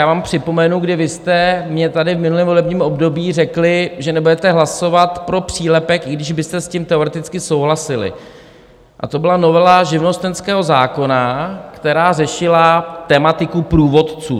Já vám připomenu, kdy vy jste mně tady v minulém volebním období řekli, že nebudete hlasovat pro přílepek, i když byste s tím teoreticky souhlasili, a to byla novela živnostenského zákona, která řešila tematiku průvodců.